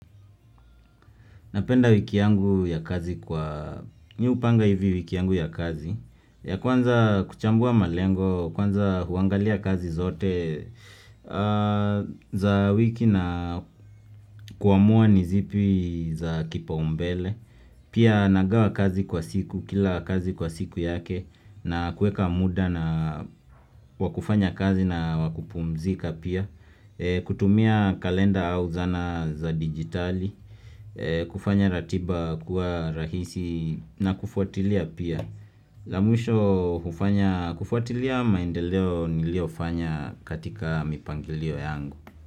Napenda wiki yangu ya kazi kwa, mimi hupanga hivi wiki yangu ya kazi, ya kwanza kuchambua malengo, kwanza huangalia kazi zote za wiki na kuamua ni zipi za kipaumbele. Pia nagawa kazi kwa siku kila kazi kwa siku yake na kuweka muda na, wa kufanya kazi na wa kupumzika pia kutumia kalenda au zana za digitali, kufanya ratiba kuwa rahisi na kufuatilia pia la mwisho kufanya, kufuatilia maendeleo niliyofanya katika mipangilio yangu.